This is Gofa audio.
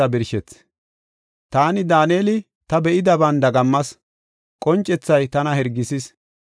“Taani, Daaneli, ta be7idaban dagammas; qoncethay tana hirgisis.